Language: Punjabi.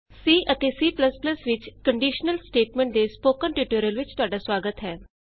C ਅਤੇ C ਵਿਚ ਕੰਡੀਸ਼ਨਲ ਸਟੇਟਮੈਂਟ ਦੇ ਸਪੋਕਨ ਟਯੂਟੋਰਿਅਲ ਵਿਚ ਤੁਹਾਡਾ ਸੁਆਗਤ ਹੈ